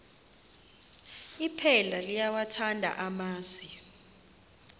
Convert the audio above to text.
iphela liyawathanda amasi